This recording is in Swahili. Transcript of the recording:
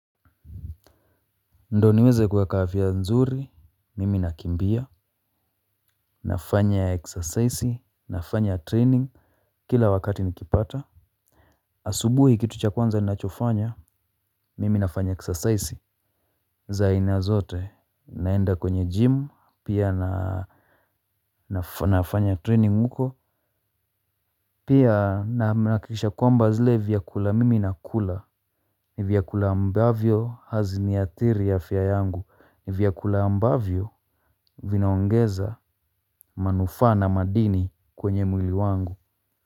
Ndiyo niweze kuweka afya nzuri, mimi nakimbia, nafanya eksasaisi, nafanya training, kila wakati nikipata. Asubuhi kitu cha kwanza ni nachofanya, mimi nafanya eksasaisi. Za aina zote, naenda kwenye gym, pia nafanya training huko, pia nahakikisha kwamba zile vyakula mimi nakula. Ni vyakula ambavyo hazini athiri afya yangu. Ni vyakula ambavyo vinaongeza manufaa na madini kwenye mwili wangu.